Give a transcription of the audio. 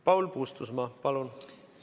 Paul Puustusmaa, palun!